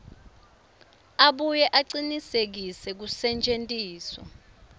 abuye acinisekise kusetjentiswa